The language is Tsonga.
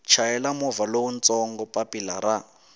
chayela movha lowutsongo papilla ra